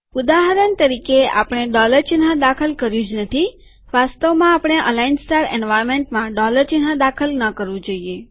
ઉદાહરણ તરીકેઆપણે ડોલર ચિહ્ન દાખલ કર્યું જ નથીવાસ્તવમાં આપણે અલાઈન સ્ટાર એન્વાર્નમેન્ટમાં ડોલર ચિહ્ન દાખલ કરવું ન જોઈએ